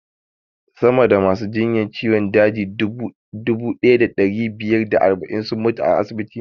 Sama da masu jinyar ciwon daji dubu ɗaya da ɗari biyar da arba'in sun mutu a asibiti na